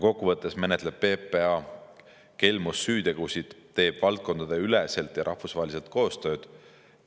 Kokku võttes menetleb PPA kelmussüütegusid, teeb valdkondadeüleselt ja rahvusvaheliselt koostööd.